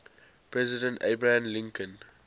president abraham lincoln